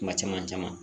Kuma caman caman